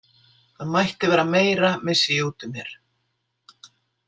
Það mætti vera meira, missi ég út úr mér.